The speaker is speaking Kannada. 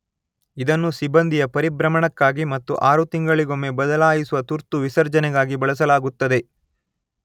ಇದನ್ನು ಸಿಬ್ಬಂದಿಯ ಪರಿಭ್ರಮಣಕ್ಕಾಗಿ ಮತ್ತು ಆರು ತಿಂಗಳಿಗೊಮ್ಮೆ ಬದಲಾಯಿಸುವ ತುರ್ತು ವಿಸರ್ಜನೆಗಾಗಿ ಬಳಸಲಾಗುತ್ತದೆ.